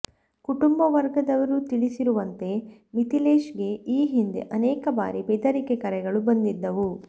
ಕುಟುಂಬ ವರ್ಗದವರು ತಿಳಿಸಿರುವಂತೆ ಮಿಥಿಲೇಶ್ ಗೆ ಈ ಹಿಂದೆ ಅನೇಕ ಬಾರಿ ಬೆದರಿಕೆ ಕರೆಗಳು ಬಂದಿದ್ದವು